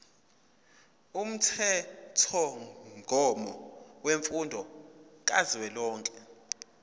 umthethomgomo wemfundo kazwelonke